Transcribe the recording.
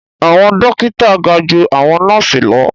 Awọn dókítà ga jù awọn nọọsi lọ